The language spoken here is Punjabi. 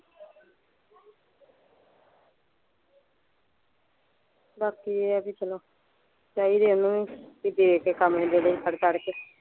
ਬਾਕੀ ਇਹ ਆ ਬੀ ਚਲੋ ਚਾਹੀਦਾ ਇਹਨੂੰ ਵੀ ਦੇ ਕੇ ਕੰਮ ਨਿਬੇੜੋ ਫੜ ਤੜ ਕੇ।